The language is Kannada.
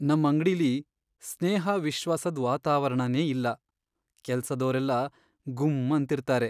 ನಮ್ ಅಂಗ್ಡಿಲಿ ಸ್ನೇಹ, ವಿಶ್ವಾಸದ್ ವಾತಾವರಣನೇ ಇಲ್ಲ. ಕೆಲ್ಸದೋರೆಲ್ಲ ಗುಮ್ಮ್ ಅಂತಿರ್ತಾರೆ.